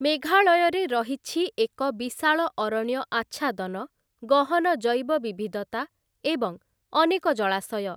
ମେଘାଳୟରେ ରହିଛି ଏକ ବିଶାଳ ଅରଣ୍ୟ ଆଚ୍ଛାଦନ, ଗହନ ଜୈବ ବିବିଧତା ଏବଂ ଅନେକ ଜଳାଶୟ ।